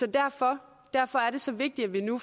derfor derfor er det så vigtigt at vi nu